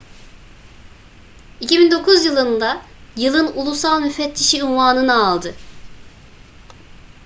2009 yılında yılın ulusal müfettişi unvanını aldı